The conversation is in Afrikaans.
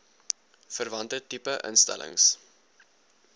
verwante tipe instellings